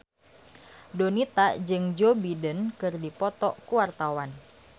Donita jeung Joe Biden keur dipoto ku wartawan